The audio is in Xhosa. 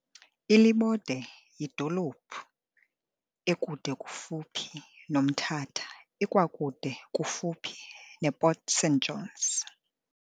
iLibode yidolophi ekude kufuphi noMthatha ikwakude kufuphi ne Port St Johns.